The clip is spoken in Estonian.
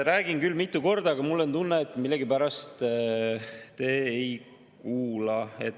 Räägin küll mitu korda, aga mul on tunne, et millegipärast te ei kuula.